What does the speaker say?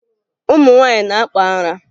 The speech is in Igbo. Ụmụ nwaanyị na-akpụ ara